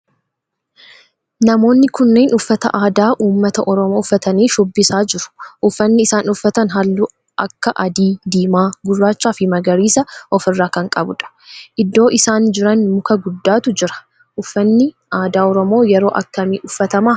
Namoonni kunneen uffata aadaa ummata oromoo uffatanii shubbisaa jiru. Uffanni isaan uffatan halluu akka adii, diimaa, gurraachaa fi magariisa of irraa kan qabudha. Iddoo isaan jiran muka guddaatu jira. Uffanni aadaa oromoo yeroo akkamii uffatama?